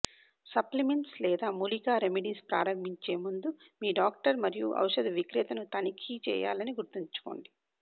supplements లేదా మూలికా remedies ప్రారంభించే ముందు మీ డాక్టర్ మరియు ఔషధ విక్రేతను తనిఖీ చేయాలని గుర్తుంచుకోండి